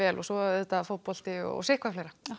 og svo fótbolti og sitt hvað fleira takk